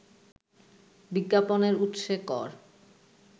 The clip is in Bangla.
বিজ্ঞাপনের উৎসে কর